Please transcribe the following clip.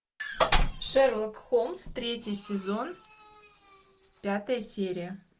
шерлок холмс третий сезон пятая серия